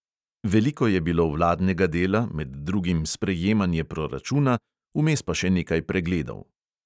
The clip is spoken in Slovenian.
Veliko je bilo vladnega dela, med drugim sprejemanje proračuna, vmes pa še nekaj pregledov.